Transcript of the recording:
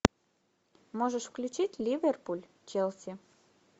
можешь включить ливерпуль челси